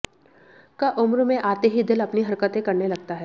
क उम्र में आते ही दिल अपनी हरकतें करने लगता है